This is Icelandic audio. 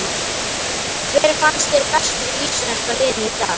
Hver fannst þér bestur í íslenska liðinu í dag?